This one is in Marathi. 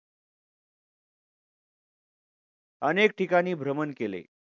अनेक ठिकाणी भ्रमण केले.